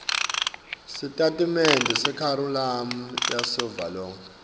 sitatimende sekharikhulamu yavelonkhe